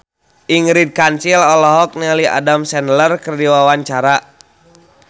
Ingrid Kansil olohok ningali Adam Sandler keur diwawancara